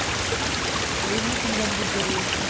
investment बघ कुठेतरी